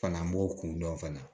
Fana an b'o kun dɔn fana